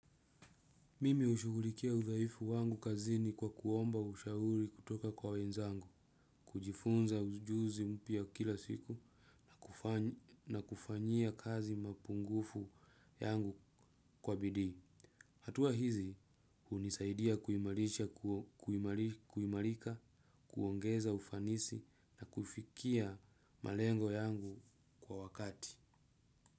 Mimi hushugulikia udhaifu wangu kazini kwa kuomba ushauri kutoka kwa wenzangu, kujifunza ujuzi mpya kila siku, na kufanyia kazi mapungufu yangu kwa bidii. Hatua hizi hunisaidia kuimarika, kuongeza ufanisi na kufikia malengo yangu kwa wakati.